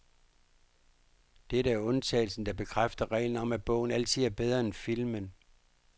Dette er undtagelsen, der bekræfter reglen om, at bogen altid er bedre end filmen.